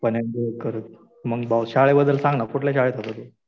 मग एमबीए करू. मग भाऊ शाळेबद्दल सांग ना. कुठल्या शाळेत होता तू?